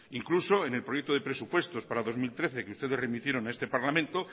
incluso en el proyecto de presupuestos para dos mil trece que ustedes remitieron a este parlamento